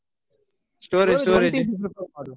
Storage storage.